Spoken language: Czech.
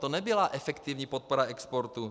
To nebyla efektivní podpora exportu.